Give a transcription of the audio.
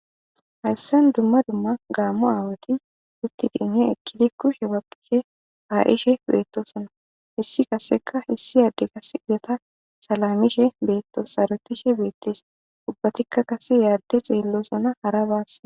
hayssan dumma dumma gaammo aawati uttidiinne ekkidi kushe baqishe ka7ishe beettosona issi kasseka issi aadde kas izata salamishe beetto sarotishe beettes ubbatikka qase yaadde xeellosona hara baasse